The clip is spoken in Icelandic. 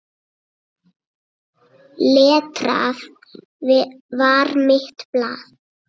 Letrað var mitt blað.